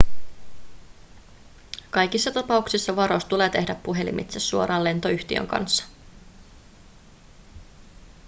kaikissa tapauksissa varaus tulee tehdä puhelimitse suoraan lentoyhtiön kanssa